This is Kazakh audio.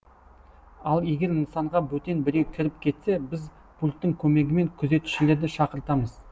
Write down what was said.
ал егер нысанға бөтен біреу кіріп кетсе біз пульттің көмегімен күзетшілерді шақыртамыз